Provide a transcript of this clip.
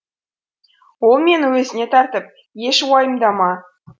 ол мені өзіне тартып еш уайымдама